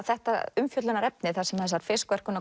þetta umfjöllunarefni þar sem þessar